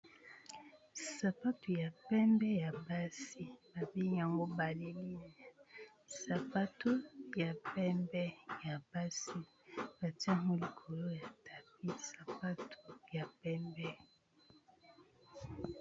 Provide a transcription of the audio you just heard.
Sapato ya pembe ya basi ba bengi yango baleline sapato ya pembe ya basi batie yango likolo ya tapis sapato ya pembe.